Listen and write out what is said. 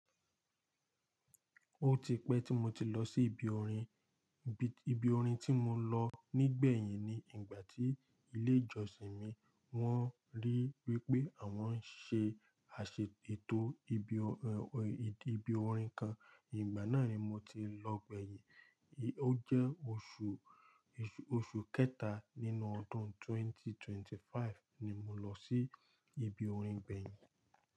Ó ti pẹ́ tí mo ti lọ sí ibi orin. Ibi orin tí mo lọ nígbẹ̀yìn ni ìgbà tí ilé ìjọsìn mi wọ́n rí wípé àwọn ń ṣe àṣètò ibi ibi orin kan. Ìgbà náà ni mo ti lọ gbẹ̀yìn. Ó jẹ́ oṣù, oṣù kẹta nínú ọdún 2025 ni mo lọ sí ibi orin gbẹ̀yìn.